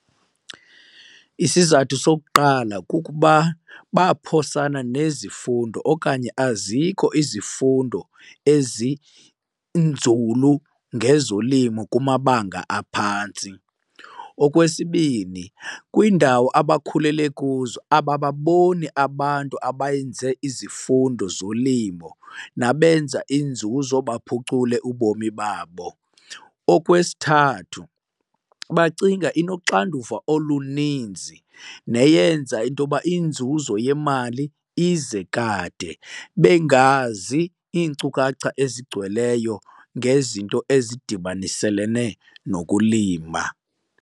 Isizathu sokuqala kukuba baphosana nezifundo okanye azikho izifundo ezinzulu ngezolimo kumabanga aphantsi. Okwesibini, kwiindawo abakhulele kuzo abababoni abantu abayenze izifundo zolimo nabenza inzuzo baphucule ubomi babo. Okwesithathu, bacinga inoxanduva oluninzi neyenza into yoba inzuzo yemali ize kade bengazi iinkcukacha ezigcweleyo ngezinto ezidibaniselene nokulima.